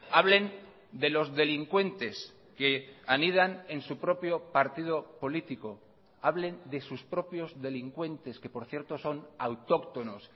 hablen de los delincuentes que anidan en su propio partido político hablen de sus propios delincuentes que por cierto son autóctonos